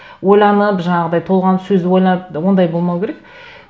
ойланып жаңағыдай толғанып сөз ойлап ондай болмау керек